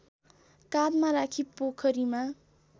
काँधमा राखी पोखरीमा